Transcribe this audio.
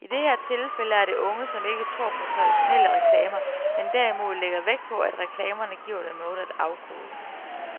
I det her tilfælde er det unge, som ikke tror på traditionelle reklamer, men derimod lægger vægt på, at reklamerne giver dem noget at afkode.